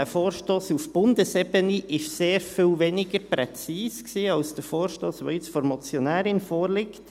Dieser Vorstoss auf Bundesebene war sehr viel weniger präzis als der Vorstoss, der jetzt von der Motionärin vorliegt.